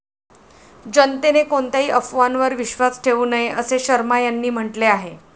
जनतेने कोणत्याही अफवांवर विश्वास ठेऊ नये, असेही शर्मा यांनी म्हटले आहे.